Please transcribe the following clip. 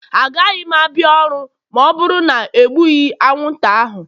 Agaghị m abịa ọrụ ma ọ bụrụ na e egbughị anwụnta ahụ.